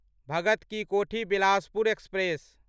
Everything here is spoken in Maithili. भगत की कोठी बिलासपुर एक्सप्रेस